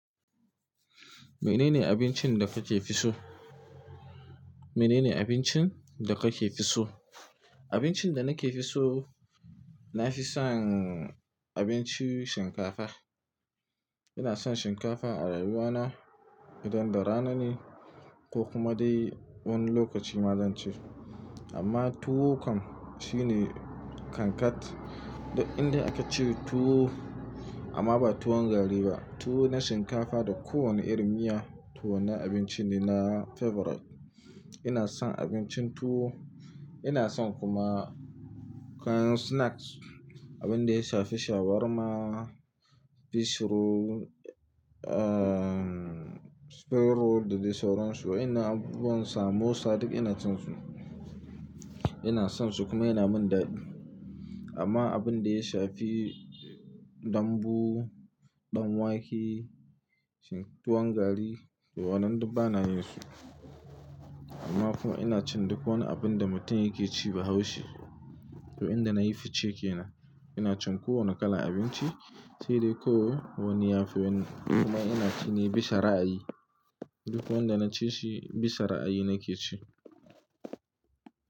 Menene abincin da kake fi so? Menene abincin da kake fi so? Abincin da nake fi so, nafi son abinci shinkafa. Ina son shinkafa a rayuwa na idan da rana ne ko kuma dai wani lokaci ma zan ce. Amma tuwo kam shine kankat dan inda aka ce tuwo amma ba tuwon gari ba. Tuwo na shinkafa da kowane irin miya, to wannan abincin ne na favorite. Ina son abincin tuwo, ina son kuma kayan snacks. Abin da ya shafi shawarma, fish roll, ah spring roll da dai sauran su wayannan abubuwan samosa duk ina cin su. Ina son su kuma yana min daɗi. Amma abin da ya shafi dambu, ɗan wake, shin-- tuwon gari to wannan duk bana yin su. Amma kuma ina cin duk wani abin da mutum yake ci bahaushe. To inda nayi fice kenan ina cin kowane kalan abinci, sai dai ko wani yafi wani. Kuma ina cine bisa ra'ayi, duk wanda na ci shi bisa ra'ayi nake ci.